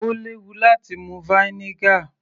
Ó léwu láti mu vinegar